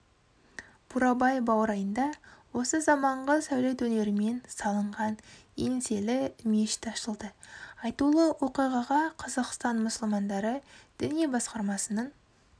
бурабай баурайында осы заманғы сәулет өнерімен салынған еңселі мешіт ашылды айтулы оқиғаға қазақстан мұсылмандары діни басқармасының